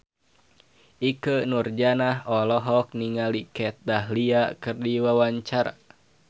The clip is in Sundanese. Ikke Nurjanah olohok ningali Kat Dahlia keur diwawancara